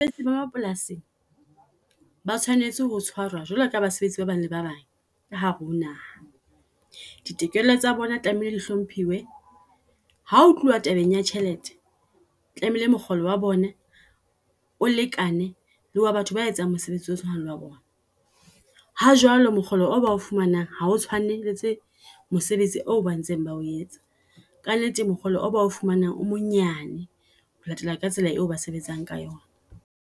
Basebetsi ba mapolasing ba tshwanetse ho tshwarwa jwalo ka basebetsi ba bang le ba bang ka hare ho naha. Ditokelo tsa bona tlamehile di hlomphiwe, hao tluwa tabeng ya tjhelete tlamehile mokgolo wa bone o lekane le wa batho ba etsang mosebetsi o tshwanang le wa bona. Ha jwalo mokgolo o ba fumanang ha o tshwanetse mosebetsi o ba ntseng ba o etsa ka nnete mokgolo o bo fumanang o monyane. Ho latela ka tsela eo ba sebetsang ka yona.